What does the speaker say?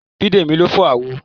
Bidemi ló fọ́ àwo